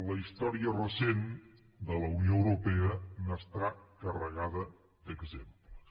la història recent de la unió europea n’està carregada d’exemples